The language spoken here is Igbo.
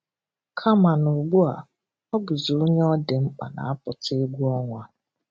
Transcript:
Kama n'ụgbua, ọ bụzị onye ọ dị mkpa na-apụta egwu ọnwa.